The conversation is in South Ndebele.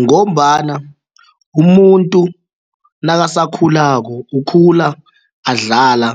Ngombana umuntu nakasakhulako ukhula adlala